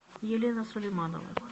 елена сулейманова